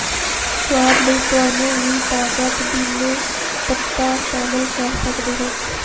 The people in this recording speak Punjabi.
ਸੁਆਦ ਲਈ ਤੁਹਾਨੂੰ ਵੀ ਤਾਜ਼ਾ ਪੁਦੀਨੇ ਪੱਤਾ ਸ਼ਾਮਲ ਕਰ ਸਕਦੇ ਹੋ